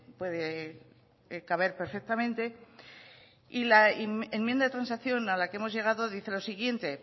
puede caber perfectamente y la enmienda de transacción a la que hemos llegado dice lo siguiente